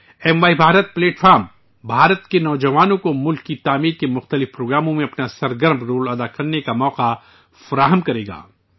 M Y Bharat تنظیم، ہندوستان کے نوجوانوں کو ملک کی تعمیر کے مختلف پروگراموں میں اپنا سرگرم رول نبھانے کا موقع فراہم کرے گی